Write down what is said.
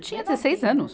Eu tinha dezesseis anos.